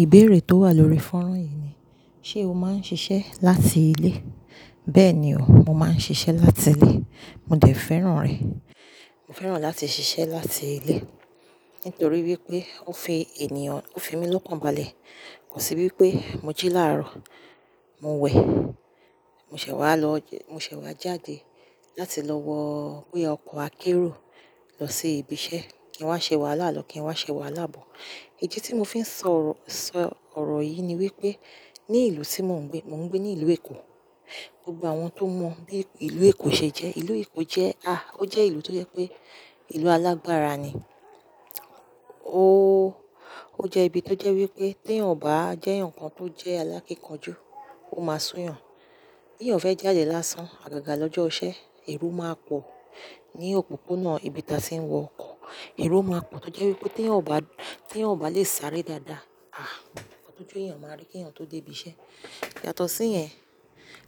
Ìbéèrè tó wà lórí fọ́nrán yìí ni, "Ṣé o máa ń ṣiṣẹ́ láti ilé?" Bẹ́ẹ̀ ni o, mo máa ń ṣiṣẹ́ láti ilé. Mo dẹ̀ fẹ́ràn rẹ̀. Mo fẹ́ràn láti ṣiṣẹ́ láti ilé nítorí wípé ó fi ènìyàn, ó fi mi lọ́pọ̀balẹ̀. Kò sí wípé mo jí láàárọ̀, mo wẹ̀, mo ṣẹ̀ wá lọ jẹ́, mo ṣẹ̀ wá jáde láti lọ wọ pé ọkọ̀ akérò lọ sí ibi iṣẹ́. Ẹ wá ṣe wàhálà lọ́, kí n wá ṣe wàhálà bọ̀. Ìdí tí mo fi ń sọ ọ̀rọ̀, sọ ọ̀rọ̀ yìí ni wípé ní ìlú tí mo ń gbé, mo ń gbé ní ìlú Èkó. Gbogbo àwọn tó mọ bí ìlú Èkó ṣe jẹ́. Ìlú Èkó jẹ́, à, ó jẹ́ ìlú tó jẹ́ pé ìlú alágbára ni. Ó, ó jẹ́ ibi tó jẹ́ wípé tí ò bá jẹ́ ǹkan tó jẹ́ alákínkanjú, ó máa sún yàn. Tí ọ̀n fẹ́ jáde lásán, àgàgà lọ́jọ́ ọ̀sẹ̀, èrú máa pọ̀ ní òpópónà ibi tí a ṣe ń wọ ọkọ̀. Èrú máa pọ̀ tó jẹ́ wípé tí ọ̀n bá, tí ọ̀n bá lè sáré dáadáa, à, ọdún ojú ìyàn máa rí kí ọ̀n tó dé ibi iṣẹ́. Yàtọ̀ sí yẹn,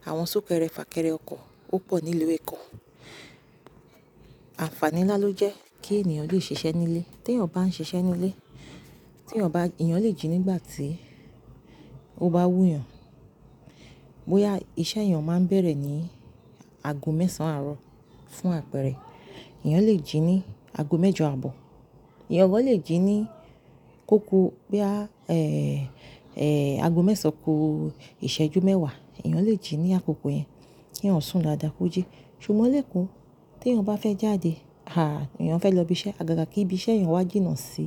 àwọn súnkẹrẹ fàkẹrẹ ọkọ̀ ó pọ̀ nílùú Èkó. Àǹfààní náà ló jẹ́ kí ènìyàn lè ṣiṣẹ́ nílé. Tí ọ̀n bá ń ṣiṣẹ́ nílé, tí ọ̀n bá, ènìyàn lè jí nígbà tí ó bá wú yàn. Bóyá iṣẹ́ ènìyàn máa ń bẹ̀rẹ̀ ní ago mẹ́sàn-án àárọ̀ fún àpẹẹrẹ, ènìyàn lè jí ní ago mẹ́jọ àbò. Ẹ̀yàn gan lè jí ní kóku bóyá, ẹ́, ẹ́, ago mẹ́sàn-án ku ìṣẹ́jú mẹ́wàá, ènìyàn lè jí ní àkókò yẹn kí ọ̀n sún dádàko jí. Ṣùgbọ́n leko, tí ọ̀n bá fẹ́ jáde, à, ènìyàn fẹ́ lọ ibi iṣẹ́, àgàgà kí ibi iṣẹ́ ènìyàn wá jìnnà sí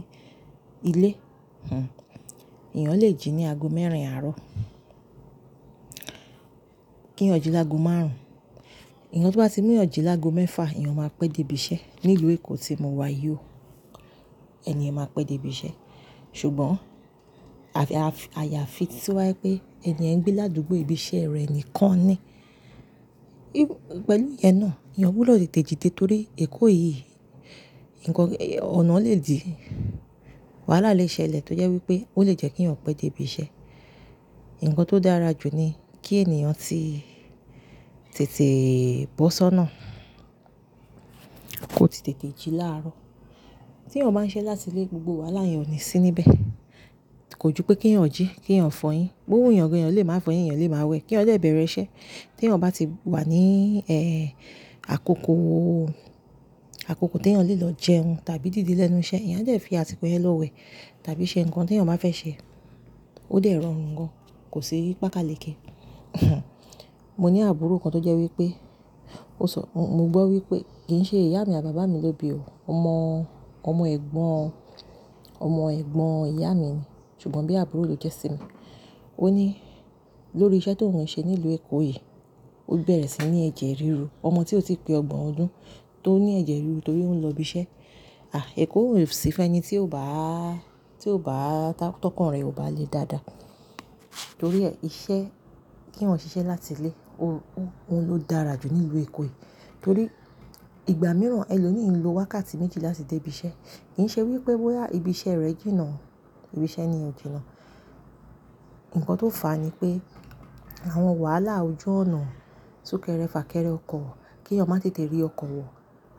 ilé, hm, ènìyàn lè jí ní ago mẹ́rin àárọ̀. Kí ọ̀n jí lágo márùn-ún. Ẹ̀yàn tó bá ti mú ọ̀ jí lágo mẹ́fà, ènìyàn máa pẹ́ dé ibi iṣẹ́. Ní ìlú Èkó tí mo wà yó, ẹni ènìyàn máa pẹ́ dé ibi iṣẹ́. Ṣùgbọ́n àyàfi tí wá pé ẹni ènìyàn ń gbé ládùúgbò ibi iṣẹ́ rẹ̀ nìkan ni. Pẹ̀lú ìyẹn náà, ènìyàn wúlò lè tètè jí torí Èkó yìí, ǹkan, ọ̀nà lè di wàhálà lẹ́sẹ̀lẹ̀ tó jẹ́ wípé ó lè jẹ́ kí ẹ̀yàn pẹ́ dé ibi iṣẹ́. Ǹkan tó dára jù ni kí ènìyàn tí tètè bọ́ sọ́nà kò tì tètè jí láàárọ̀. Tí ọ̀n bá ń ṣiṣẹ́ láti ilé, gbogbo wàhálà ènìyàn ni sí níbẹ̀. Kò ju pé kí ẹ̀yàn jí, kí ẹ̀yàn fọyín. Bo wù yàn gẹ́gẹ́, ènìyàn lè máa fọyín, ènìyàn lè máa wẹ̀ kí wọ́n lè bẹ̀rẹ̀ iṣẹ́. Tí ọ̀n bá ti wà ní, ẹ́, àkókò, àkókò tí ènìyàn lè lọ jẹun tàbí dìde lẹ́nu iṣẹ́, ènìyàn jẹ́ fi àtíkọ̀ yẹn lọ wẹ̀ tàbí ṣe ǹkan tí ènìyàn bá fẹ́ ṣe. Ó dẹ̀ rọrùn gan, kò sí pákàlẹ̀ké. Mo ní àbúrò kan tó jẹ́ wípé ó sọ, mo gbọ́ wípé, kì ń ṣe ìyá mi àbá bà mí ló bí ò o, ọmọ, ọmọ ẹ̀gbọ́n, ọmọ ẹ̀gbọ́n ìyá mi ni. Ṣùgbọ́n bí àbúrò ló jẹ́ sí mi. Ó ní lórí iṣẹ́ tó ń ṣe nílùú Èkó yìí, ó bẹ̀rẹ̀ sí ní ẹ̀jẹ̀ ríru. Ọmọ tí ò tí pẹ ọgbọ̀n ọdún tó ní ẹ̀jẹ̀ ríru torí ó ń lọ ibi iṣẹ́. À, Èkó ò sí fun ẹni tí ò bá, tí ò bá, tọkan e o bá le dáadáa. Torí ẹ, iṣẹ́ kí wọ́n ṣiṣẹ́ láti ilé ó, ó, ó ló dára jù nílùú Èkó yìí. Torí ìgbà mìíràn ẹ lo mi ń lo wákàtí méjì láti dé ibi iṣẹ́. Kì ń ṣe wípé bóyá ibi iṣẹ́ rẹ jìnnà, ibi iṣẹ́ ni ò jínnà. Ǹkan tó fà á ni pé àwọn wàhálà ojú ọ̀nà, súnkẹrẹ fàkẹrẹ ọkọ̀, kí ọmọ tètè rí ọkọ̀ wọ̀,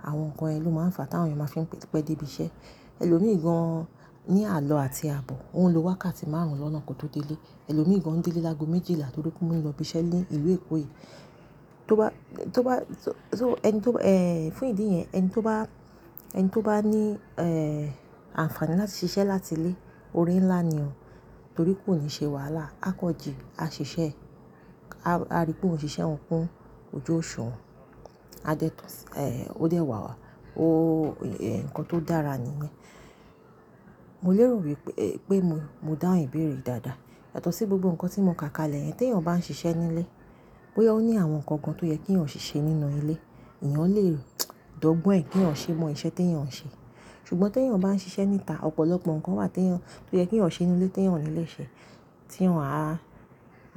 àwọn ǹkan ẹni ló máa ń fà á tí àwọn ènìyàn máa fi ń pẹ́ dé ibi iṣẹ́. Ẹni lo mìíràn ní àlọ àti àbọ̀, òun lo wákàtí márùn-ún lọ́nà kí ó tó dé ilé. Ẹni lo mìíràn ń dé ilé lágo méjìlá torí pé ó ń lọ ibi iṣẹ́ ní ìlú Èkó yìí. Tó bá, tó bá, so, so ẹni tó, ẹ́, fún ìdí yẹn ẹni tó bá, ẹni tó bá ní, ẹ́, àǹfààní láti ṣiṣẹ́ láti ilé, ore ńlá ni o torí kò ní ṣe wàhálà. A kọ jì, a ṣiṣẹ́, a rí pé òun ṣiṣẹ́ òun kún ojú òṣùwọ̀n, a dé tún, ẹ́, ó dẹ̀ wà wà. Ó, ẹ̀, ǹkan tó dára ni. Mo lérò wípé, pé mo dáhùn ìbéèrè dáadáa. Yàtọ̀ sí gbogbo ǹkan tí mo kà kalẹ̀ yẹn, tí ọ̀n bá ń ṣiṣẹ́ nílé, bóyá ó ní àwọn ǹkan kan tó yẹ kí ọ̀n ṣe nínú ilé, ènìyàn lè rò, dògbọ́n ẹ kí ọ̀n ṣe mọ iṣẹ́ tí ènìyàn ń ṣe. Ṣùgbọ́n tí ènìyàn bá ń ṣiṣẹ́ níta, ọ̀pọ̀lọpọ̀ ǹkan wà tí ènìyàn, tó yẹ kí ọ̀n ṣe nínú ilé tí ènìyàn ò ní lè ṣe tí wọ́n a,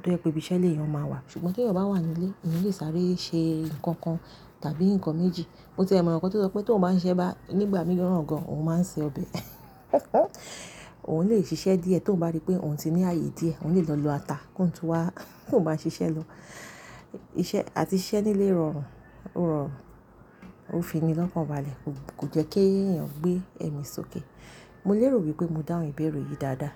tó yẹ pé ibi iṣẹ́ lè ènìyàn máa wà. Ṣùgbọ́n tí ènìyàn bá wà nínú ilé, ènìyàn lè sáré ṣe ǹkan kan tàbí ǹkan méjì. Mo tẹ̀ mọ̀ ǹkan tó sọ pé tí ọ̀n bá ń ṣẹ́ bá, nígbà mìíràn gan òun máa ń ṣe ọbẹ̀. Òun lè ṣiṣẹ́ díẹ̀ tí ọ̀n bá rí pé òun ti ní ààyè díẹ̀, òun lè lọ lọ ata kó ń tún wá kó ń bá ṣiṣẹ́ lọ. Ìṣe àti iṣẹ́ nílé rọrùn, rọrùn, ó fi mi lọ́pọ̀balẹ̀. Kò jẹ́ kí ènìyàn gbé ẹ̀mí sókè. Mo lérò wípé mo dáhùn ìbéèrè yìí dáadáa.